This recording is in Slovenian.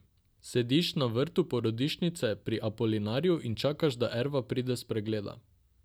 Sediš na vrtu porodnišnice Pri Apolinarju in čakaš, da Erva pride s pregleda.